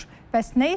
Bəs nə etməli?